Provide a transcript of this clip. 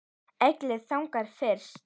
Egill þagnar fyrst.